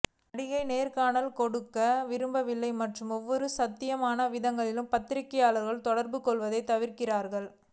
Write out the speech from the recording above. நடிகை நேர்காணல்கள் கொடுக்க விரும்பவில்லை மற்றும் ஒவ்வொரு சாத்தியமான விதத்திலும் பத்திரிகையாளர்களுடன் தொடர்பு கொள்வதைத் தவிர்க்கிறார்